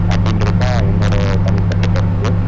அப்படிங்குறது தான் என்னோட தனிப்பட்ட கருத்து